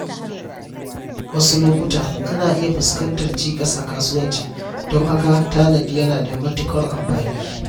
Wasu lokuta, ana iya fuskantar cikas a kasuwanci, don haka tanadi yana da matuƙar amfani.